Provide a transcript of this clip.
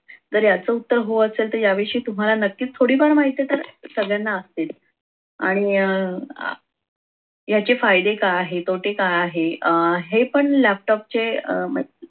तर याच उत्तर हो असेल तर या विषयी तुम्हाला नक्कीच थोडी पण माहिती तर सगळ्यांनाच असते. आणि या अह याचे फायदे काय आहे तोटे काय आहे अह हे पण laptop चे अह म्हण